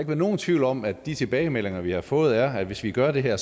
være nogen tvivl om at de tilbagemeldinger vi har fået er at hvis vi gør det her